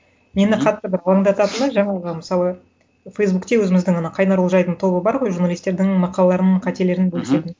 мені қатты бір уайымдататыны жаңағы мысалы фейсбукте өзіміздің ана қайнар олжайдың тобы бар ғой журналистердің мақалаларын қателерін бөлісетін